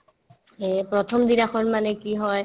এই প্ৰথমদিনাখন মানে কি হয়